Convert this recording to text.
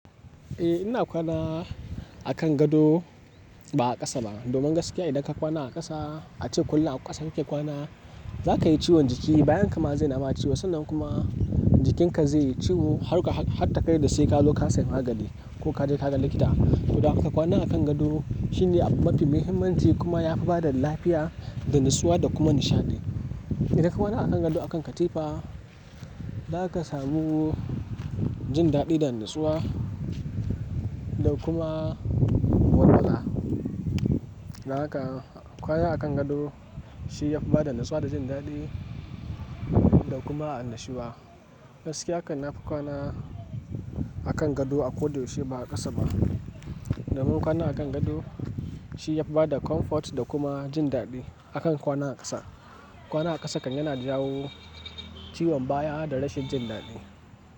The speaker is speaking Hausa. Eh ina kwana a kan gado ba a ƙasa ba. Domin gaskiya idan ka kwana a ƙasa, a ce kullum a ƙasa kake kwana, za ka yi ciwon jiki, bayan ka ma zai naba ciwo. Sannan kuma jikin ka zai yi ciwo har, har ta kai da sai ka zo ka sayi magani ko ka je ka ga likita. To, don haka kwana a kan gado shine abu mafi muhimmanci kuma yafi bada lafiya da natsuwa da kuma nishaɗi. Idan ka kwana a kan gado a kan katifa, za ka samu jin daɗi da natsuwa da kuma walwala. Don haka kwana a kan gado shi yafi bada natsuwa da jin daɗi da kuma annashuwa. Gaskiya kan nafi kwana a kan gado a ko da yaushe ba a ƙasa ba. Domin kwana a kan gado shi yafi bada comfort da kuma jin daɗi akan kwana a ƙasa. Kwana a ƙasa kan yana jawo ciwon baya da rashin jin daɗi.